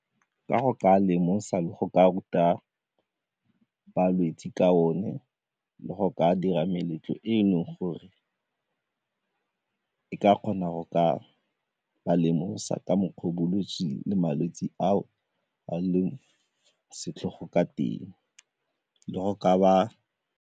Ka go ka lemosa le go ka ruta balwetse ka one le go ka dira meletlo e e leng gore e ka kgona go ka ba lemosa ka mokgwa o bolwetse le malwetse ao a leng setlhogo ka teng le go ka ba.